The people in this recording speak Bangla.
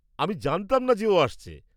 আমি জানতাম না যে ও আসছে।